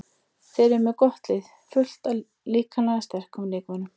Þeir eru með gott lið, fullt af líkamlega sterkum leikmönnum.